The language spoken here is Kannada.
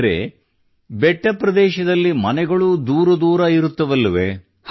ಆದರೆ ಬೆಟ್ಟಪ್ರದೇಶದಲ್ಲಿ ಮನೆಗಳೂ ದೂರ ದೂರ ಇರುತ್ತವಲ್ಲವೇ